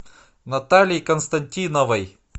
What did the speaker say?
натальи константиновой